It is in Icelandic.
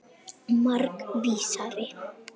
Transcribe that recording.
Margs vísari.